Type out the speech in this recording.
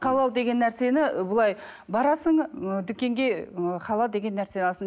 халал деген нәрсені былай барасың ы дүкенге ы халал деген нәрсе аласың